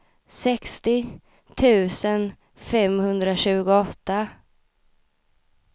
sextio tusen femhundratjugoåtta